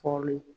Kɔli